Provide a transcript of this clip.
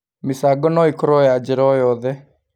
Mĩchango no ĩkorwo ya njĩra o yothe